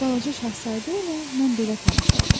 Balaca şahzadə ilə mən belə tanış oldum.